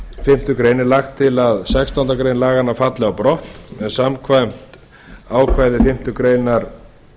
fimmtu grein er lagt til að sextándu grein laganna falli á brott en samkvæmt ákvæði fimmtu grein